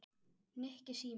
Nikki, síminn